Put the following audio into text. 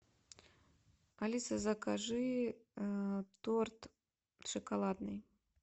алиса закажи торт шоколадный